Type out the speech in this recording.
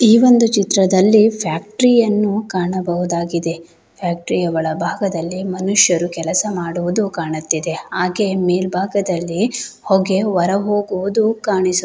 ಈ ಒಂದು ಚಿತ್ರದಲ್ಲಿ ಫ್ಯಾಕ್ಟರಿ ಅನ್ನು ಕಾಣಬಹುದಾಗಿದೆ. ಫ್ಯಾಕ್ಟರಿ ಒಳ ಭಾಗದಲ್ಲಿ ಮನುಷ್ಯರು ಕೆಲಸ ಮಾಡುವುದು ಕಾಣಿಸುತ್ತಿದೆ ಹಾಗೆ ಮೇಲ್ ಭಾಗದಲ್ಲಿ ಹೋಗೆ ಹೊರ ಹೋಗುವುದು ಕಾಣಿಸು --